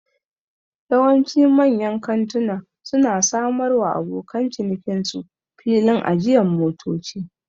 Yawanci manyan kantuna su na samar wa abokan cinikin su filin ajiyan motoci